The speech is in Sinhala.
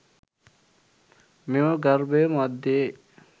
මෙම ගර්භය මධ්‍යයේ